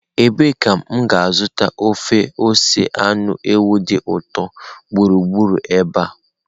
Ebee ka m ga-azụta ofe ose anụ ewu dị ụtọ gburugburu ebe a?